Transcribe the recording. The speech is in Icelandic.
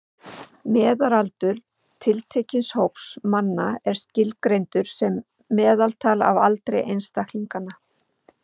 Meðalaldur tiltekins hóps manna er skilgreindur sem meðaltal af aldri einstaklinganna.